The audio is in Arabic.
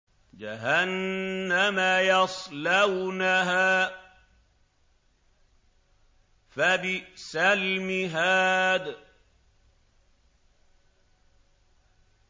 جَهَنَّمَ يَصْلَوْنَهَا فَبِئْسَ الْمِهَادُ